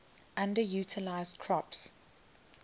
underutilized crops